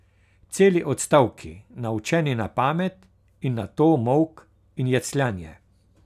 Celi odstavki, naučeni na pamet, in nato molk in jecljanje.